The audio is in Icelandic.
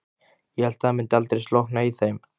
Ég hélt að það myndi aldrei slokkna í þeim.